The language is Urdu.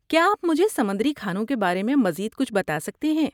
کیا آپ مجھے سمندری کھانوں کے بارے میں مزید کچھ بتا سکتے ہیں؟